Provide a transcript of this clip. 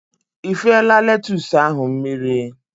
Ifela letus ahụ mmiri?